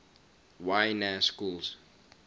y na schools